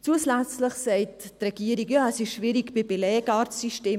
Zusätzlich sagt die Regierung, es sei schwierig beim Belegarztsystem.